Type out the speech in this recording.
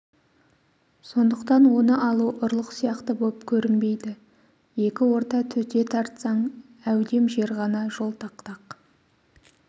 сондықтан оны алу ұрлық сияқты боп көрінбейді екі орта төте тартсаң әудем жер ғана жол тақтақ